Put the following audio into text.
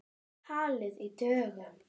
Talið í dögum.